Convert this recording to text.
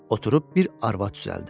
Oturub bir arvad düzəldir.